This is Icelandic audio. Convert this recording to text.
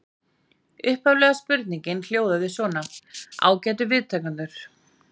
Upphaflega spurningin hljóðaði svona: Ágætu viðtakendur.